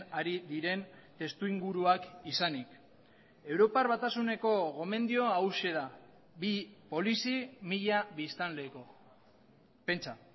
ari diren testuinguruak izanik europar batasuneko gomendioa hauxe da bi polizi mila biztanleko pentsa